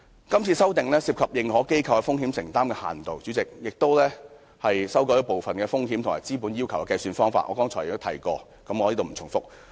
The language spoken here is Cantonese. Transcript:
今次的修訂涉及認可機構的風險承擔的限度，代理主席，而且修改了部分風險和資本要求的計算方法，我剛才也提過，我不再重複。